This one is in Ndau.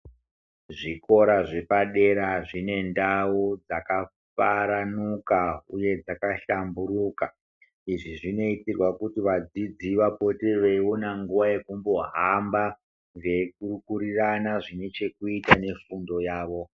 Zvikora zve padera zvine ndau dzaka saranuka uye dzaka hlamburika izvi zvinoitirwa kuti vadzidzi vapote veiona nguva yekumbo hamba vei pupurina zvine chekuita ne fundo yavo.